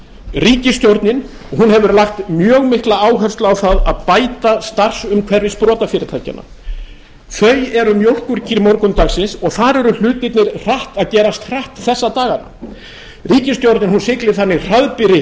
ríkisstjórnin hefur lagt mjög mikla áherslu á að bæta starfsumhverfi sprotafyrirtækjanna þau eru mjólkurkýr morgundagsins og þar eru hlutirnir að gerast hratt þessa dagana ríkisstjórnin siglir þannig hraðbyri að því